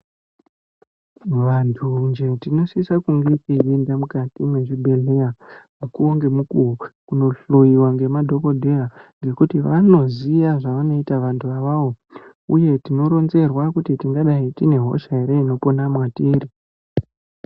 Vantunje tinosisa kunge teyienda mukati mezvibhedheya kunohloiwa nemadhokodheya nekuti vanoziya zvavanoita vantu avavo uye tinoronzera kuti tingadai tine Hosea ere inopona mwatiri.